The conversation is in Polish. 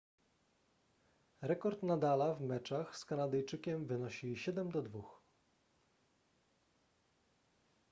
rekord nadala w meczach z kanadyjczykiem wynosi 7:2